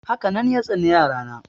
Haka nan ya tsani yara na.